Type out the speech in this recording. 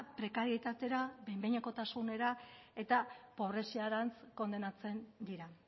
prekarietatera behin behinekotasunera eta pobreziarantz kondenatzen dira